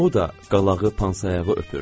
O da qalağı pansayağı öpürdü.